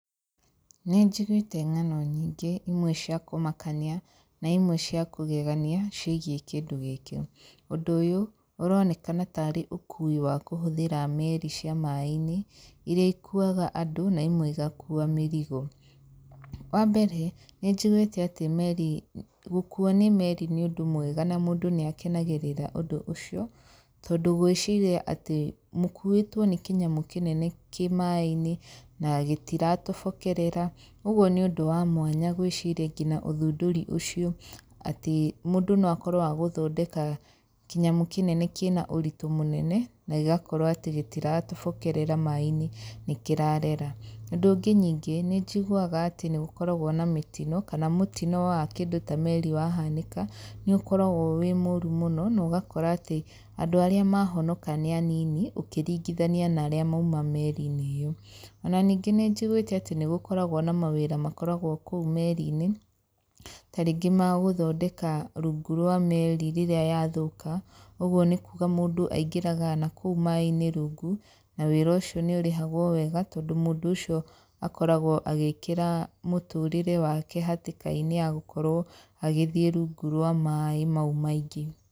Nĩ njigũĩte nganonnyingĩ imwe cia kũmakania na imwe cia kũgegania ciĩgie kĩndũ gĩkĩ. Ũndũ ũyũ ũronekana tarĩ ũkũi wa kũhũthĩra meri cia maĩ-inĩ iria ikuaga andũ na imwe igakua mĩrigo. Wambere nĩ njiguĩte atĩ gũkũo nĩ meri nĩ ũndũ mwega na mũndũ nĩ akenagĩrĩra ũndũ ũcio tondũ gwĩciria atĩ mũkuĩtwo kĩnyamũ kĩnene kĩ maai-inĩ na gĩtiratobokerera ũgũo nĩ ũndũ wa mwanya gwĩciria nginya ũthundũri ũcio atĩ mũndũ no akorwo agĩthondeka kĩnyamũ kĩnene kĩna ũritũ mũnene na gĩgakorwo atĩ gĩtiratobokerera maĩ-inĩ nĩ kĩrarera. Ũndũ ũngĩ ningĩ nĩ njiguaga atĩ nĩ gũkoragwo na mĩtino kana mũtino wa kĩndũ ta meri wa hanĩka nĩ ũkoragwo wĩ mũru mũno na ũgakora atĩ andũ arĩa mahonoka nĩ anini ũkĩrigithania na arĩa maũma meri-inĩ ĩyo. Ona ningĩ nĩ njiguĩte atĩ nĩ gũkoragwo na mawĩra makoragwo kũu meri-inĩ tarĩngĩ magũthondeka rungu rwa meri rĩrĩa yathũka ũgũo nĩ kuga mũndũ aingĩraga nakũu mai-inĩ rungu na wĩra ũcio nĩ ũrĩhagwo wega tondũ mũndũ ũcio akoragwo agĩkĩra mũtũre wake hatĩkainĩ ya gũkorwo agĩthiĩ rungu rwa maĩ mau maingĩ.